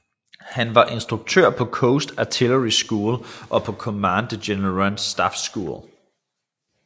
Han var instruktør på Coast Artillery School og på Command and General Staff School